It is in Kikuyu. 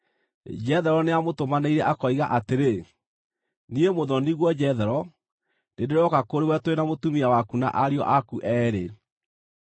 Jethero nĩamũtũmanĩire akoiga atĩrĩ, “Niĩ, mũthoni-guo Jethero, nĩndĩrooka kũrĩ we tũrĩ na mũtumia waku na ariũ aku eerĩ.”